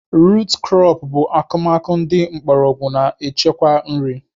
Rut krọp bụ akụmakụ ndị mgbọrọgwụ na-echekwa nri